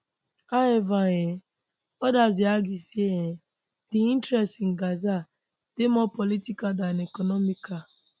however um odas dey argue say um di interest in gaza dey more political dan economical